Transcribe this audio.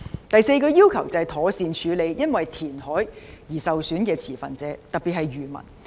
第四個要求是妥善處理因填海而受損的持份者，特別是漁民。